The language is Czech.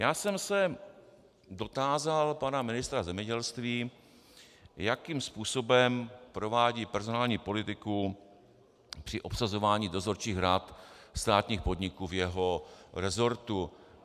Já jsem se dotázal pana ministra zemědělství, jakým způsobem provádí personální politiku při obsazování dozorčích rad státních podniků ve svém resortu.